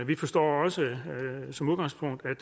vi forstår også som udgangspunkt at